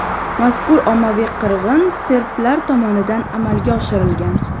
Mazkur ommaviy qirg‘in serblar tomonidan amalga oshirilgan.